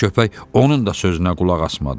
Qara köpək onun da sözünə qulaq asmadı.